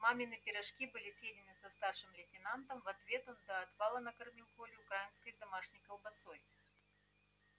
мамины пирожки были съедены со старшим лейтенантом в ответ он до отвала накормил колю украинской домашней колбасой